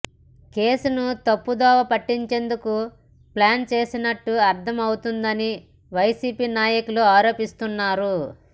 కేసును తప్పుదోవ పట్టించేందుకు ప్లాన్ చేసినట్టు అర్ధం అవుతోందని వైసీపీ నాయకులు ఆరోపిస్తున్నారు